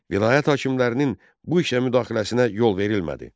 Vilayət hakimlərinin bu işə müdaxiləsinə yol verilmədi.